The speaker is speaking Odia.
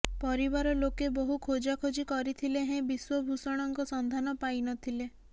ପରିବାର ଲୋକେ ବହୁ ଖୋଜାଖୋଜି କରିଥିଲେ ହେଁ ବିଶ୍ୱଭୂଷଣଙ୍କ ସନ୍ଧାନ ପାଇନଥିଲେ